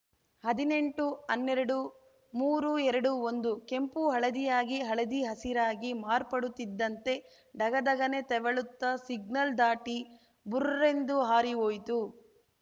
ಹದಿನೆಂಟುಹನ್ನೆರಡುಮೂರು ಎರಡು ಒಂದು ಕೆಂಪು ಹಳದಿಯಾಗಿ ಹಳದಿ ಹಸಿರಾಗಿ ಮಾರ್ಪಡುತ್ತಿದ್ದಂತೆ ದಗ ದಗನೆ ತೆವಳುತ್ತ ಸಿಗ್ನಲ್‌ ದಾಟಿ ಭುರ್ರೆಂದು ಹಾರಿ ಹೋಯಿತು